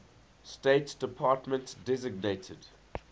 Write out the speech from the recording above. state department designated